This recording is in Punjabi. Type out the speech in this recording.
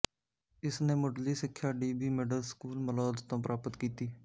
ਇਸ ਨੇ ਮੁਢਲੀ ਸਿੱਖਿਆ D B middle school Malaud ਤੋਂ ਪ੍ਰਾਪਤ ਕੀਤੀ